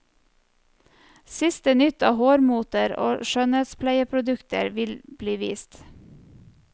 Siste nytt av hårmoter og skjønnhetspleieprodukter vil bli vist.